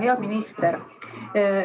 Hea minister!